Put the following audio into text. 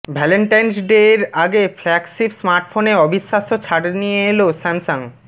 Valentine's day এর আগে flagship স্মার্টফোনে অবিশ্বাস্য ছাড় নিয়ে এলো স্যামসাং